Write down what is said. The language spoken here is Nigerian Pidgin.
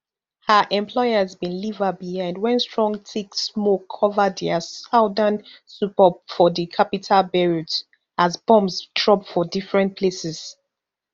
her employers bin leave her behind wen strong thick smoke cover dia southern suburb for di capital beirut as bombs drop for different places